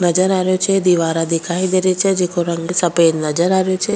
नजर आ रेहो छे दीवारा दिखाई दे री छे जेको रंग सफ़ेद नजर आ रेहो छे।